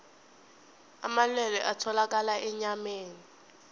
amalwelwe atholakala enyameni